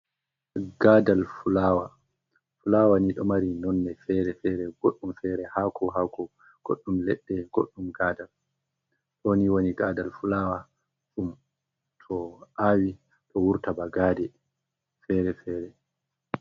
Fulaawa ni ɗo mari nonne fere-fere, goɗɗum fere haako haako ,goɗɗum leɗɗe, goɗɗum gaadal. Ɗoni woni gaadal fulaawa ,to aawi ɗo wurta ba gaade fere-fere.